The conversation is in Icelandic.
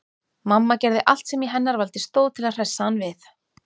Mamma gerði allt sem í hennar valdi stóð til að hressa hann við.